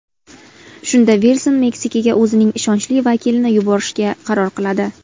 Shunda Vilson Meksikaga o‘zining ishonchli vakilini yuborishga qaror qiladi.